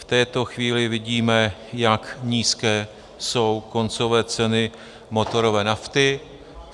V této chvíli vidíme, jak nízké jsou koncové ceny motorové nafty.